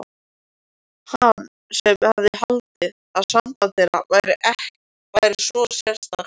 Hann sem hafði haldið að samband þeirra væri svo sérstakt.